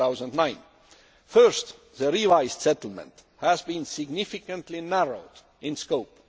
2009. First, the revised settlement has been significantly narrowed in scope.